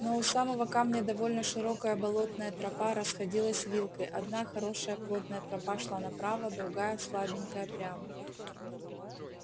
но у самого камня довольно широкая болотная тропа расходилась вилкой одна хорошая плотная тропа шла направо другая слабенькая прямо